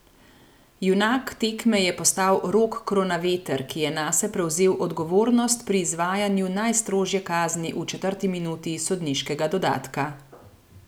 Junak tekme je postal Rok Kronaveter, ki je nase prevzel odgovornost pri izvajanju najstrožje kazni v četrti minuti sodniškega dodatka.